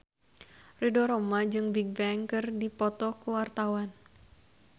Ridho Roma jeung Bigbang keur dipoto ku wartawan